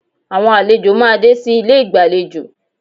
Àwọn àlejò máa dé sí ilé ìgbàlejò